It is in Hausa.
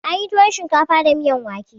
Ana yin tuwon shinkafa da miyan wake.